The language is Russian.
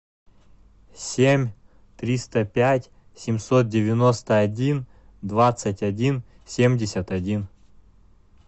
семь триста пять семьсот девяносто один двадцать один семьдесят один